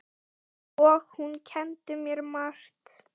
Átta árum síðan mættust liðin.